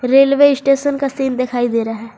Railway station का scene दिखाई दे रहा है।